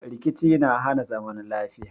Rkici na hana zaman lafiya.